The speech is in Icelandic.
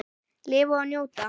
Lifa og njóta.